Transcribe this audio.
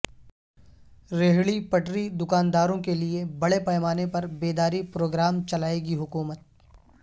ریہڑی پٹری دکانداروں کیلئے بڑے پیمانے پر بیداری پروگرام چلائے گی حکومت